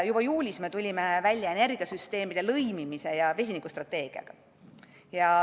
Juba juulis me tulime välja energiasüsteemide lõimimise ja vesinikustrateegiaga.